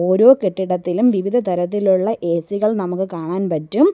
ഓരോ കെട്ടിടത്തിലും വിവിധ തരത്തിലുള്ള എ_സി കൾ നമുക്ക് കാണാൻ പറ്റും.